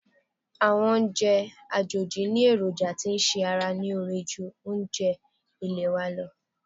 Àwọn oúnjẹ àjòjì ní èròjà tí ń ṣàrà lóore ju àwọn oúnjẹ ilẹ̀ wa lọ.